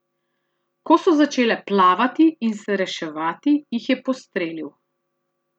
Ko so začele plavati in se reševati, jih je postrelil.